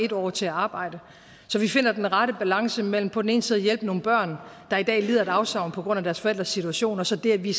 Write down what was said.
år til at arbejde så vi finder den rette balance mellem på den ene side at hjælpe nogle børn der i dag lider et afsavn på grund af deres forældres situation og så det at vi